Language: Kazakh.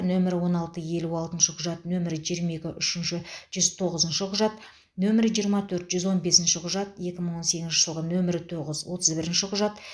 нөмірі он алты елу алтыншы құжат нөмірі жиырма екі үшінші жүз тоғызыншы құжат нөмірі жиырма төрт жүз он бесінші құжат екі мың он сегізінші жылғы нөмірі тоғыз отыз бірінші құжат